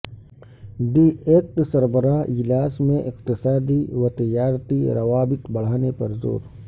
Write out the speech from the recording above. D eight سربراہ اجلاس میں اقتصادی و تجارتی روابط بڑھانے پر زور